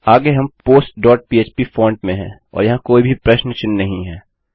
आगे हम postपह्प फॉंट में हैं और वहाँ कोई भी प्रश्न चिन्ह नहीं है